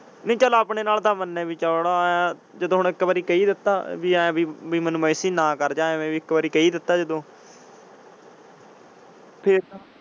ਨਾਇ ਚਾਲ ਆਪਣੇ ਨਾਲ ਤਾਂ ਚਾਲ ਮੰਨੇ ਬਾਯੀ ਚੌੜਾ ਹੈ ਜਦੋਂ ਹੁਣ ਇੱਕ ਵਾਰ ਕਹਿ ਹੀ ਦਿੱਤਾ ਬਾਯੀ ਐਨ ਹੈ ਬਾਯੀ ਮੇਨੂ ਮਂ message ਨਾ ਕਰ ਜਾ ਆਯੀ ਇਕ ਵਾਰ ਕਹਿ ਹੀ ਦਿੱਤਾ ਜਦੋਂ। .